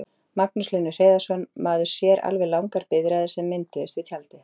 Magnús Hlynur Hreiðarsson: Maður sér alveg langar biðraðir sem mynduðust við tjaldið?